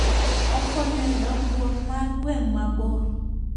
Okonyo e dongruok mar gweng' mabor.